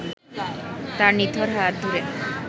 তার নিথর হাত ধরে